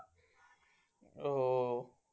हो